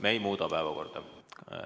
Me ei muuda päevakorda.